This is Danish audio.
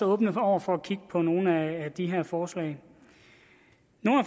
åbne over for at kigge på nogle af de her forslag